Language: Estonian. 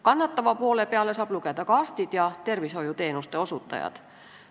Kannatavateks poolteks saab lugeda ka arstid ja tervishoiuteenuste osutajad.